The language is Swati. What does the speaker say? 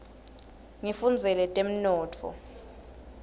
ngifundzela temnotfo